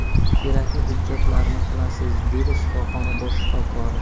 Kerakli hujjatlarni qilasiz”, dedi shifoxona bosh shifokori.